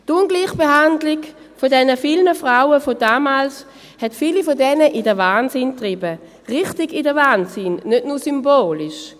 Die Ungleichbehandlung der vielen Frauen von damals trieb viele von ihnen in den Wahnsinn, richtig in den Wahnsinn, nicht nur symbolisch: